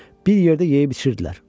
Bir yerdə yeyib-içirdilər.